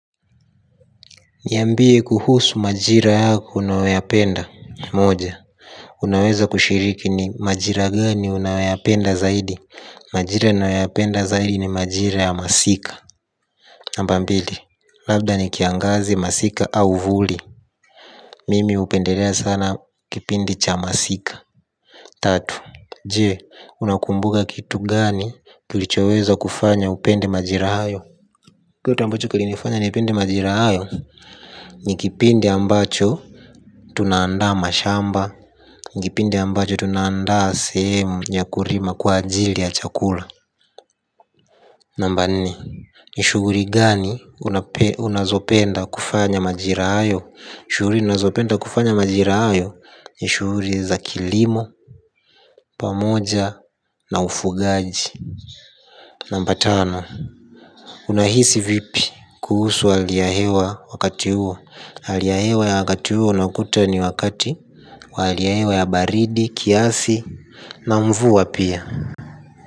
Niambie kuhusu majira yako unayoyapenda moja. Unaweza kushiriki ni majira gani unayoyapenda zaidi. Majira ninayoyapenda zaidi ni majira ya masika. Namba mbili labda ni kiangazi masika au vuli mimi hupendelea sana kipindi cha masika. Tatu je, unakumbuka kitu gani kilichoweza kufanya upende majira hayo. Kituambacho kili nifanya ni pende majira hayo. Ni kipindi ambacho tunandaa mashamba. Nikipindi ambacho tunandaa sehemu ya kulima kwa ajili ya chakula. Namba nne. Nishughuli gani unazopenda kufanya majirahayo shughuli ninazopenda kufanya majirahayo. Nishughuli za kilimo. Pamoja na ufugaji namba tano. Unahisi vipi kuhusu haliyahewa wakati huo haliyahewa ya wakati huo una kuta ni wakati. Wahaliyahewa ya baridi, kiasi na mvua pia.